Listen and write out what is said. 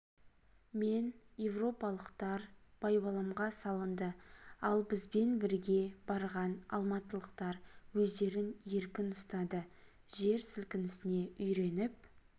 мен европалықтар байбаламға салынды ал бізбен бірге барған алматылықтар өздерін еркін ұстады жер сілкінісне үйреніп